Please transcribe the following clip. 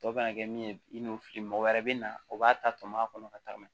Tɔ bɛna kɛ min ye i n'o fili mɔgɔ wɛrɛ bɛ na o b'a ta tɔmɔ a kɔnɔ ka tagama